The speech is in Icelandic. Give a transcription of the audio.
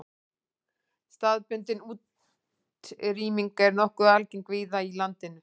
Staðbundin útrýming er nokkuð algeng víða í landinu.